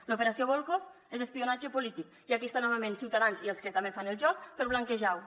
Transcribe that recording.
l’operació volhov és espionatge polític i aquí està novament ciutadans i els que també fan el joc per blanquejar ho